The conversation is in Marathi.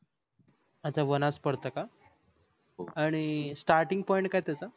अच्छा वनाज पडत का? आणि starting point काय आहे त्याच?